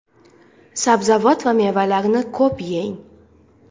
Sabzavot va mevalarni ko‘p yeng.